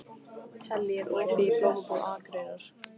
Kellý, er opið í Blómabúð Akureyrar?